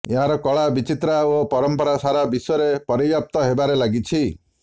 ଏହାର କଳା ବିଚିତ୍ରା ଓ ପରମ୍ପରା ସାରା ବିଶ୍ୱରେ ପରିବ୍ୟାପ୍ତ ହେବାରେ ଲାଗିଛି